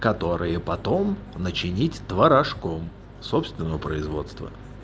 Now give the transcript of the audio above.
которые потом начинить творожком собственного производства